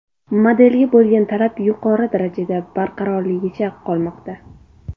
Modelga bo‘lgan talab yuqori darajada barqarorligicha qolmoqda.